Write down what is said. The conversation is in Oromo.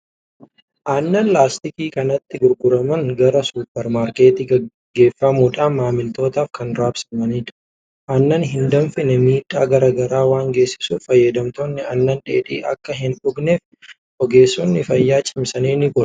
Aannan laastikii kanatti gurguraman gara suupper maarketii geeffamuudhaan maamiltootaaf kan raabsamanidha. Aannan hin danfine miidhaa garaa garaa waan geessisuuf fayyadamtoonni aannan dheedhii akka hin dhugneef ogeessonni fayyaa cimsanii ni gorsu!